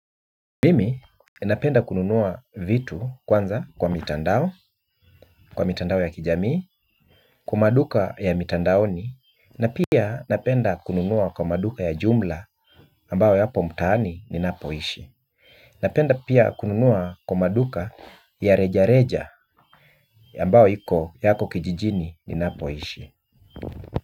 Mimi napenda kununua vitu kwanza kwa mitandao, kwa mitandao ya kijamii, kwa maduka ya mitandaoni na pia napenda kununua kwa maduka ya jumla, ambayo yapo mtaani ninapoishi. Napenda pia kununua kwa maduka ya reja reja ambayo yako kijijini ninapo ishi.